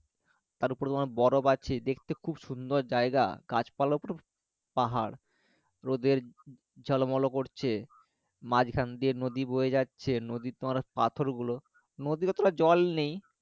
তার উপর তোমার বরফ আছে দেখতে খুব সুন্দর জায়গা গাছ পালা পুরো পাহাড় রোদের ঝলমল করছে মাঝখান দিয়ে নদী বয়ে যাচ্ছে নদীর তোমার পাথর গুলো নদীতে অতটা জল নেই